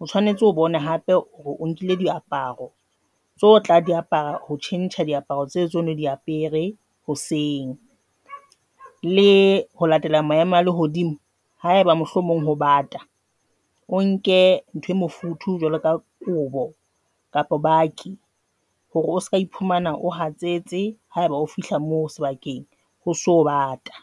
o tshwanetse o bone hape hore o nkile diaparo tsa ho tla di apara ho tjhentjha diaparo tse tseno di apere hoseng le ho latela maemo a lehodimo. Haeba mohlomong ho bata, o nke ntho e mofuthu jwalo ka kobo kapa bakkie hore o seka, iphumana o hatsetse ha eba o fihla moo sebakeng ho so bata.